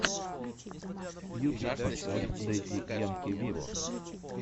ютуб поставь дэдди янки вево